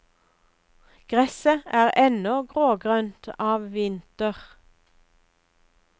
Gresset er ennå grågrønt av vinter.